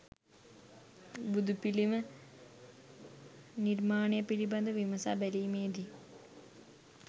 බුදුපිළිම නිර්මාණය පිළිබඳව විමසා බැලීමේදී